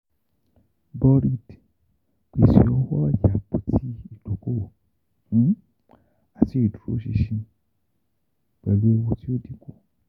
Borid; pese owo oya apoti idokowo ati iduroṣinṣin pẹlu eewu ti o dinku.